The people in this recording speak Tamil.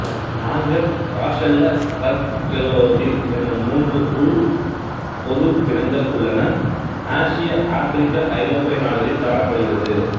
நாங்கர் காஸெல்ல ட்ரக்க்கெல்லோசீல் என்னும் மூன்று உள்பொது வினங்கள் உள்ளன ஆசிய ஆப்பிரிக்கா ஐரோப்பிய நாடுகளில் காணப்படுகிறது